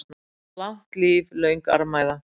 Langt líf, löng armæða.